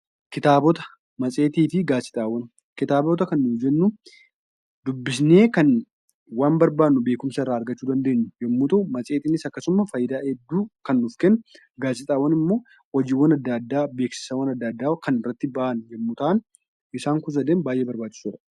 Kitaabota, maasxeetii fi gaazixaawwaan, kitaabota kan nuyi jennu, dubbisne kan waan barbaannu beekumsa irra argachuu dandeenyu yemmu ta'u, maasxeetiin akkasumsa, faayidaa hedduu kan nuuf kennu, gaazixaawwaan immoo hojiiwwaan addaa adda,a beeksisawwaan addaa addaa kan irratti ba'aan yemmu ta'aan isaan kun sadan baay'ee barbaachisoodha.